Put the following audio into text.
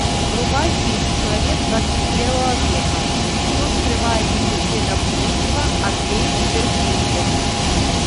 врубай фильм человек двадцать первого века что скрывает медицина будущего андрей перфильев